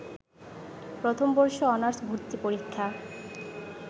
প্রথমবর্ষ honours ভর্তি পরীক্ষা